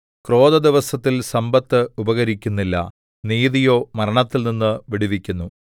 ക്രോധദിവസത്തിൽ സമ്പത്ത് ഉപകരിക്കുന്നില്ല നീതിയോ മരണത്തിൽനിന്ന് വിടുവിക്കുന്നു